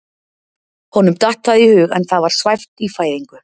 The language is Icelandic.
Honum datt það í hug en það var svæft í fæðingu.